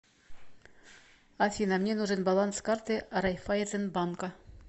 афина мне нужен баланс карты райфайзен банка